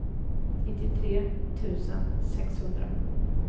nittiotre tusen sexhundra